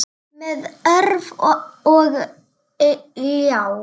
Með orf og ljá.